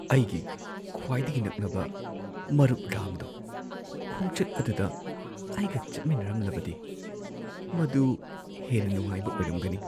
ꯑꯩꯒꯤ ꯈ꯭ꯋꯥꯏꯗꯒꯤ ꯅꯛꯅꯕ ꯃꯔꯨꯞ ꯔꯥꯝꯗꯣ ꯈꯣꯡꯆꯠ ꯑꯗꯨꯗ ꯑꯩꯒ ꯆꯠꯃꯤꯟꯅꯔꯝꯂꯕꯗꯤ꯫ ꯃꯗꯨ ꯍꯦꯟꯅ ꯅꯨꯉꯥꯏꯕ ꯑꯣꯏꯔꯝꯒꯅꯤ꯫